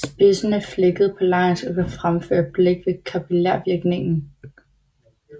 Spidsen er flækket på langs og kan fremføre blæk ved kapillærvirkningen